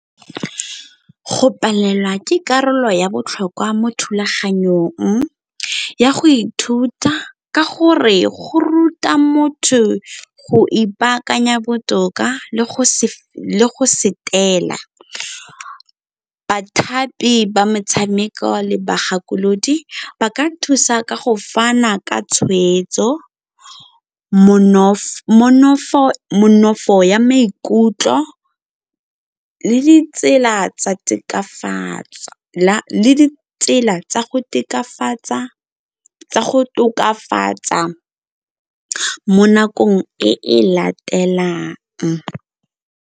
Go palelwa ke karolo ya botlhokwa mo thulaganyong ya go ithuta ka gore go ruta motho go ipaakanya botoka le go . Bathapi ba metshameko le bagakolodi ba ka thusa ka go fana ka tshweetso, ya maikutlo le ditsela tsa go tokafatsa mo nakong e e latelang.